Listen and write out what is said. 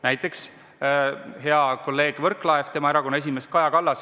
Näiteks, hea kolleegi Võrklaeva erakonna esimees on Kaja Kallas.